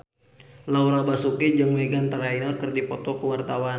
Laura Basuki jeung Meghan Trainor keur dipoto ku wartawan